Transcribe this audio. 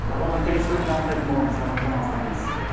бағдарламаның келесі бөлімінде анықтайтын боламыз арнамыздан алыстамаңыз